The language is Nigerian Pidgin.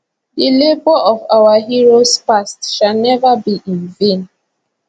the labour of our heroes past shall never be in vain